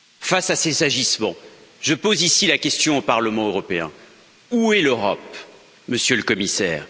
Face à ces agissements je pose ici la question au Parlement européen où est l'Europe, Monsieur le Commissaire?